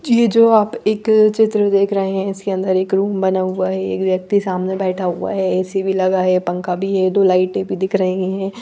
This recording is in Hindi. ये जो आप एक चित्र देख रहे है इसके अंदर एक रूम बना हुआ है एक व्यक्ति सामने बैठा हुआ है ए_सी भी लगा है पंखा भी है दो लाईटे भी दिख रही है।